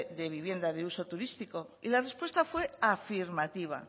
de vivienda de uso turístico y la respuesta fue afirmativa